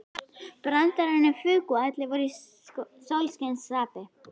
Brandararnir fuku og allir voru í sólskinsskapi.